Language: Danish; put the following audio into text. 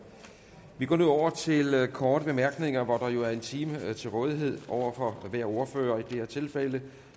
vi går nu over til korte bemærkninger hvor der jo er en time til rådighed over for hver ordfører og i det her tilfælde